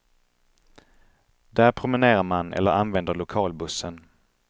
Där promenerar man eller använder lokalbussen.